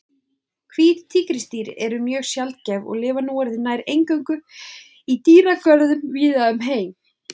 Hvít tígrisdýr eru mjög sjaldgæf og lifa núorðið nær eingöngu í dýragörðum víða um heim.